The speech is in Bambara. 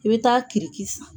I bɛ taa kiridi san.